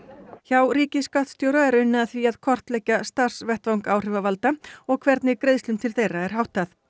hjá ríkisskattstjóra er unnið að því að kortleggja starfsvettvang áhrifavalda og hvernig greiðslum til þeirra er háttað